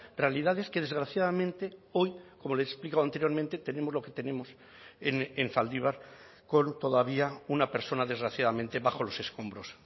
realidades que desgraciadamente hoy como le he explicado anteriormente tenemos lo que tenemos en zaldibar con todavía una persona desgraciadamente bajo los escombros